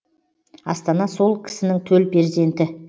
астана сол кісінің төл перзенті